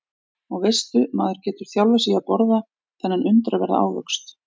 Og veistu maður getur þjálfað sig í að borða þennan undraverða ávöxt.